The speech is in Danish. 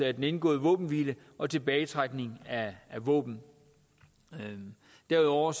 af den indgåede våbenhvile og tilbagetrækning af våben derudover